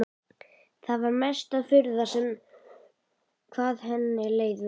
Það var mesta furða hvað henni leið vel.